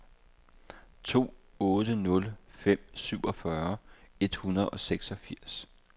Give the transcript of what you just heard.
to otte nul fem syvogfyrre et hundrede og seksogfirs